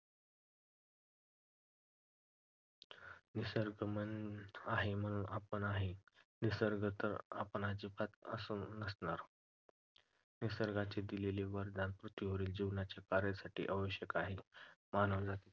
निसर्ग आहे म्हणून आपण आहे, निसर्ग नसेल तर आपण अजिबात नसू. निसर्गाने दिलेले वरदान पृथ्वीवरील जीवनाच्या कार्यासाठी आवश्यक आहे. मानवजातीच्या